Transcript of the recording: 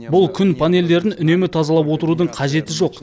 бұл күн панельдерін үнемі тазалап отырудың қажеті жоқ